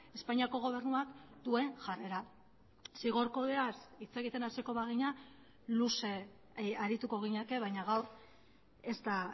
espainiako gobernuak duen jarrera zigor kodeaz hitz egiten hasiko bagina luze arituko ginateke baina gaur ez da